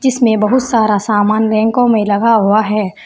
इसमें बहुत सारा सामान रैंको में लगा हुआ है।